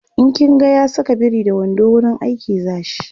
in kin ga ya Saka biri da wando wurin aiki zashi